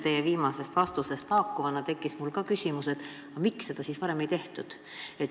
Teie viimase vastuse põhjal tekkis ka mul küsimus, miks seda siis varem ei tehtud.